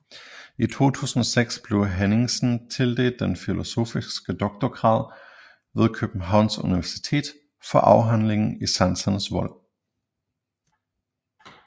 I 2006 blev Henningsen tildelt den filosofiske doktorgrad ved Københavns Universitet for afhandlingen I sansernes vold